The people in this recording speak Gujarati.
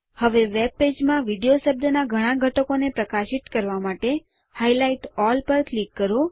હવે વેબપેજ માં વીડિયો શબ્દના બધા ઘટકોને પ્રકાશિત કરવા માટે હાઇલાઇટ અલ્લ પર ક્લિક કરો